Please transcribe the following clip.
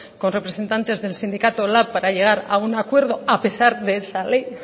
con representantes del sindicato lab para llegar a un acuerdo a pesar de esa ley y